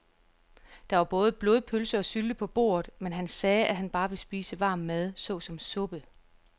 Der var både blodpølse og sylte på bordet, men han sagde, at han bare ville spise varm mad såsom suppe.